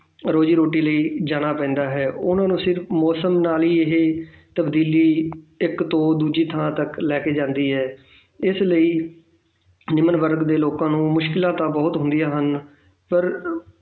ਰੋਜ਼ੀ ਰੋਟੀ ਲਈ ਜਾਣਾ ਪੈਂਦਾ ਹੈ ਉਹਨਾਂ ਨੂੰ ਸਿਰਫ਼ ਮੌਸਮ ਦਾ ਨੀ ਇਹ ਤਬਦੀਲੀ ਇੱਕ ਥਾਂ ਤੋਂ ਦੂਜੀ ਥਾਂ ਲੈ ਕੇ ਜਾਂਦੀ ਹੈ ਇਸ ਲਈ ਨਿਮਨ ਵਰਗ ਦੇ ਲੋਕਾਂ ਨੂੰ ਮੁਸ਼ਕਲਾਂ ਤਾਂ ਬਹੁਤ ਹੁੰਦੀਆਂ ਹਨ ਪਰ